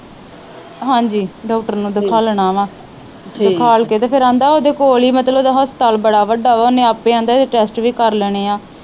ਹਾਂਜੀ ਡਾਕਟਰ ਨੂੰ ਦਿਖਾਲਣਾ ਵਾ ਦਿਖਾਲ ਕੇ ਤੇ ਫਿਰ ਆਂਦਾ ਓਹਦੇ ਕੋਲ ਈ ਮਤਲਬ ਉਹਦਾ ਹਸਪਤਾਲ ਬੜਾ ਵੱਡਾ ਆ ਉਹਨੇ ਆਪੇ ਆਂਦਾ ਇਹਦੇ ਟੈਸਟ ਵੀ ਕਰ ਲੈਣੇ ਆ।